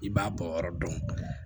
I b'a bɔ yɔrɔ dɔn